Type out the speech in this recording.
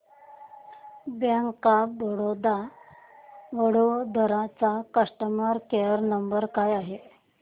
bank of Baroda Vadodara चा customer care number काय आहे